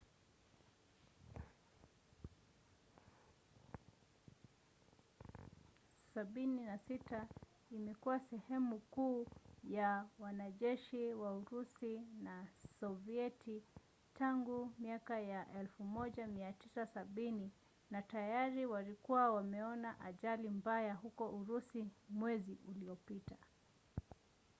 il-76 imekuwa sehemu kuu ya wanajeshi wa urusi na sovieti tangu miaka ya 1970 na tayari walikuwa wameona ajali mbaya huko urusi mwezi uliopita